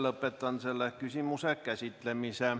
Lõpetan selle küsimuse käsitlemise.